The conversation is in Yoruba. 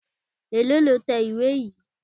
Èlòó lo tẹ ìwé yìí?